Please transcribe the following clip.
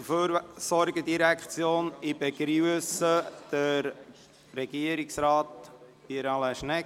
Ich begrüsse Regierungsrat Pierre Alain Schnegg.